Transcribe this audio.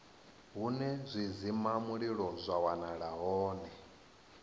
hune zwidzimamulilo zwa wanala hone